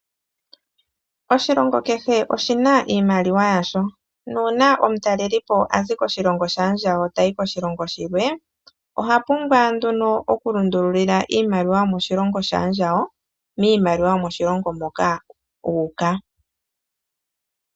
Oshilongo kehe oshi na iimaliwa yasho. Nuu na omutalelipo azi koshilongo shaandjawo tayi koshilongo shilwe, oha pumbwa nduno okulundululila iimaliwa yomoshilongo shaandjawo miimaliwa yomoshilongo moka u uka.